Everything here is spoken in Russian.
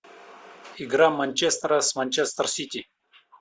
игра манчестера с манчестер сити